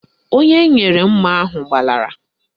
Onye m nyere mma ahụ gbalara